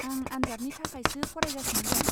आं आनजादनि थाखायसो फरायगासिनो दं।